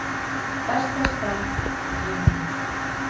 Besta starf í heimi